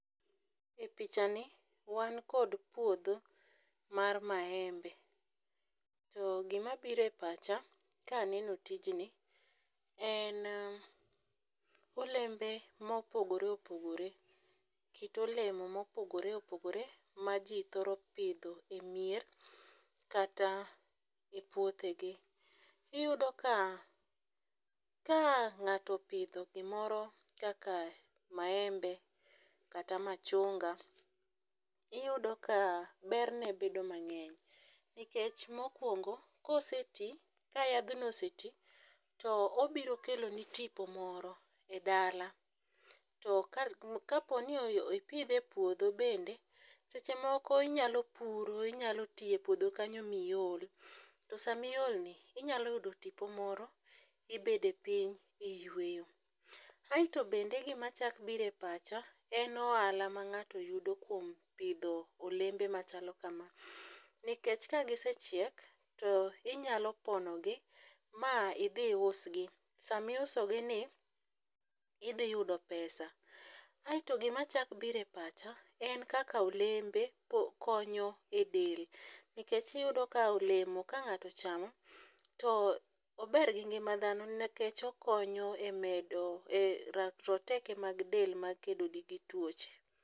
E picha ni wan kod puodho mar maembe. To gima bire pacha kaneno tijni en olembe mopogore opogore, kit olemo mopogore opogore ma jii thoro pidho e mier kata e puothe gi. Iyudo ka ka ng'ato opidho gimoro kaka maembe, kata machunga iyudo ka ber ne bedo mang'eny nikech mokwongo koseti ka yadhno oseti to obiro kelo ni tipo moro e dala. To ka ka poni ipidhe e puodho bende seche moko inyalo puro inyalo tiye puodho kanyo miol to sami ol ni inyalo yudo tipo moro ibede piny iyieto. Aeto bende gima chak bire pacha en ohala ma ng'ato yudo kuom pidho olembe machalo kama nikech ka gisechiek tinyalo pono gi ma idhi iusgi, sama inuso gi ni idhi yudo pesa. Aeto gima chak biro e pacha en kaka olembe konyo e del nikech iyudo ka olemo ka ng'ato ochamo toober gi ngima dhano nikech okonyo e medo e rakruok roteke mag del makedo gi tuoche.